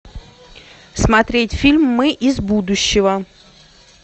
смотреть фильм мы из будущего